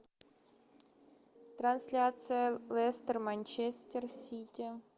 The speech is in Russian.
трансляция лестер манчестер сити